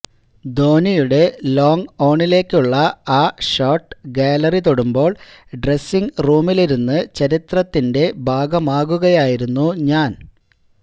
ധോനിയുടെ long ഓണിലേക്കുള്ള ആ shot gallery തൊടുമ്പോള് ഡ്രെസിങ് റൂമിലിരുന്ന് ചരിത്രത്തിന്റെ ഭാഗമാകുകയായിരുന്നു ഞാന്